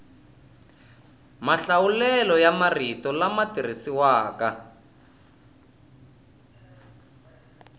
mahlawulelo ya marito lama tirhisiwaka